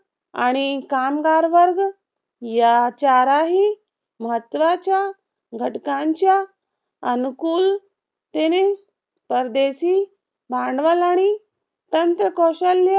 आणि कामगार वर्ग या चाराही महत्वाच्या घटकांच्या अनुकूल तेने परदेशी भांडवल आणि तंत्रकौशल्य